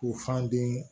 U fan den